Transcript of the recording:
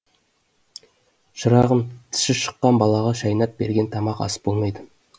шырағым тісі шыққан балаға шайнап берген тамақ ас болмайды